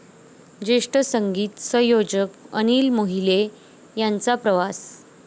ज्येष्ठ संगीत संयोजक अनिल मोहिले यांचा प्रवास